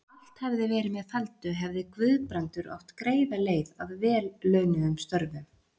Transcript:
Ef allt hefði verið með felldu, hefði Guðbrandur átt greiða leið að vel launuðum störfum.